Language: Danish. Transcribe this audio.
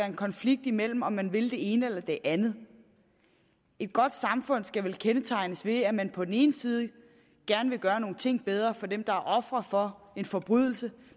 en konflikt imellem om man vil det ene eller det andet et godt samfund skal vel kendetegnes ved at man på den ene side gerne vil gøre nogle ting bedre for dem der er ofre for en forbrydelse